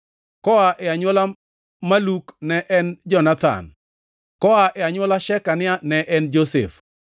koa e anywola Maluk ne en Jonathan; koa e anywola Shekania ne en Josef;